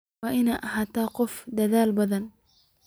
Waad ina ahatahy qof aad udadhal badhan.